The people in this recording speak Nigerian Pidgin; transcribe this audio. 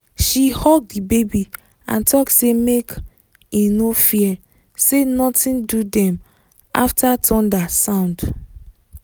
she hug the baby and talk say make e no fear say nothing do dem after thunder sound